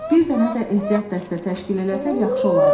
Bir dənə də ehtiyat dəstə təşkil eləsək yaxşı olardı,